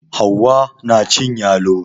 Hauwa na cin yalo